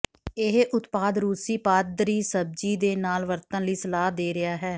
ਇਹ ਉਤਪਾਦ ਰੂਸੀ ਪਾਦਰੀ ਸਬਜ਼ੀ ਦੇ ਨਾਲ ਵਰਤਣ ਲਈ ਸਲਾਹ ਦੇ ਰਿਹਾ ਹੈ